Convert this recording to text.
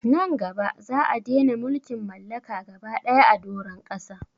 Nan gaba za'a dena mulkin mallaka gaba daya a doron ƙasa